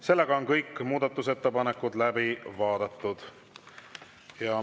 Seega on kõik muudatusettepanekud läbi vaadatud.